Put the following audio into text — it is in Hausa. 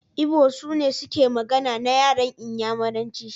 Igbo sune suke magana na yaran Inyamuranci.